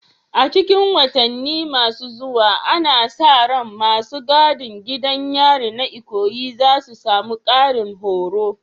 A cikin watanni masu zuwa, ana sa ran masu gadin gidan yarin na Ikoyi za su samu ƙarin horo.